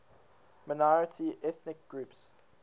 minority ethnic groups